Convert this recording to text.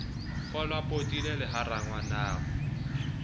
kgolwao potile le ha rangwanao